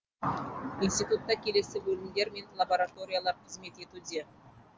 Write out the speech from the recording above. институтта келесі бөлімдер мен лабораториялар қызмет етуде